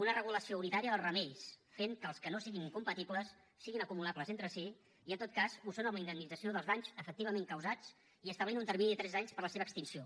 una regulació unitària dels remeis fent que els que no siguin incompatibles siguin acumulables entre si i en tot cas ho són amb la indemnització dels danys efectivament causats i establint un termini de tres anys per la seva extinció